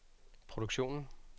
produktionen